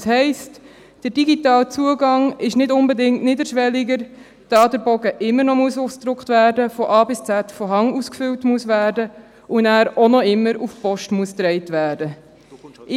Das heisst, dass der digitale Zugang nicht unbedingt niederschwelliger ist, da der Bogen immer noch ausgedruckt, von A bis Z von Hand ausgefüllt und immer auch noch auf die Post getragen werden muss.